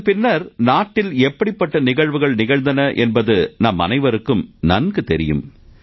அதன் பின்னர் நாட்டில் எப்படிப்பட்ட நிகழ்வுகள் நிகழ்ந்தன என்பது நாமனைவருக்கும் நன்கு தெரியும்